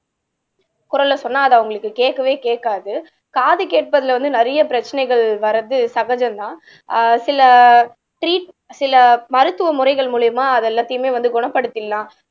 குரல சொன்னா அது அவங்களுக்கு கேட்கவே கேட்காது காது கேட்பதுல வந்து நிறைய பிரச்சனைகள் வர்றது சகஜம்தான் ஆஹ் சில ட்ரீட் சில மருத்துவ முறைகள் மூலியமா அது எல்லாத்தையுமே வந்து குணப்படுத்திடலாம்